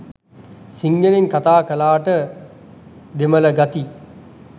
සිංහලෙන් කතා කලාට දෙමළ ගති